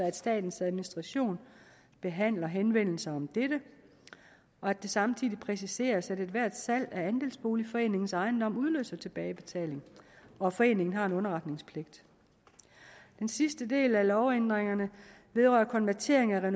at statens administration behandler henvendelser om dette og samtidig præciseres det at ethvert salg af andelsboligforeningens ejendom udløser tilbagebetaling og at foreningen har en underretningspligt den sidste del af lovændringerne vedrører konvertering af